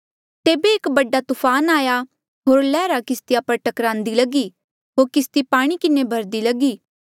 तेबे एक बडा तूफान आया होर लैहरा किस्तिया पर टकरान्दी लगी होर किस्ती पाणी किन्हें भहर्रदी लगी